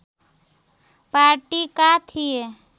पार्टीका थिए